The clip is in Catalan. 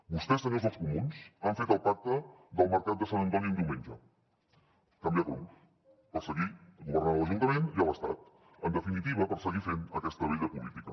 vostès senyors dels comuns han fet el pacte del mercat de sant antoni un diumenge canviar cromos per seguir governant a l’ajuntament i a l’estat en definitiva per seguir fent aquesta vella política